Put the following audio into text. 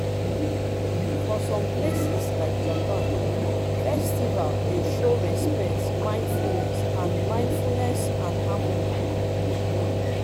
for some places like japan festival dey show respect mindfulness and mindfulness and harmony